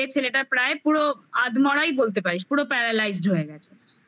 ছেলেটার প্রায় পুরো আধমরাই বলতে পারিস পুরো paralyzed হয়ে গেছে